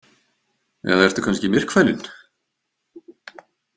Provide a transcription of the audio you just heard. Eða ertu kannski myrkfælinn?